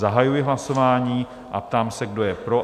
Zahajuji hlasování a ptám se, kdo je pro?